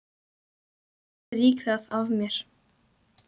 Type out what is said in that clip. Ég strýk það af mér.